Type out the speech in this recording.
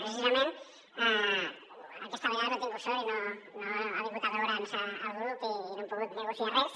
precisament aquesta vegada no he tingut sort i no ha vingut a veure’ns el grup i no hem pogut negociar res